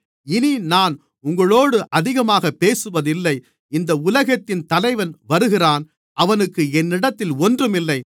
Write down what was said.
இனி நான் உங்களோடு அதிகமாக பேசுவதில்லை இந்த உலகத்தின் தலைவன் வருகிறான் அவனுக்கு என்னிடத்தில் ஒன்றுமில்லை